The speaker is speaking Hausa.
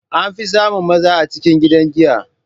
An fi samun maza a cikin gidan giya.